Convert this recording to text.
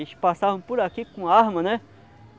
Eles passavam por aqui com arma, né?